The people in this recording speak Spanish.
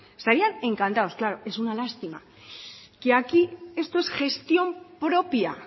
estarían encantados claro es una lástima que aquí esto es gestión propia